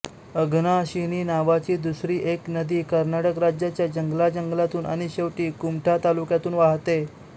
अघनाशिनी नावाची दुसरी एक नदी कर्नाटक राज्याच्या जंगलाजंगलातून आणि शेवटी कुमठा तालुक्यातून वहाते